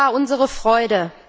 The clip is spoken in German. Wo war unsere Freude?